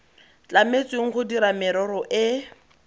tlametsweng go dira merero e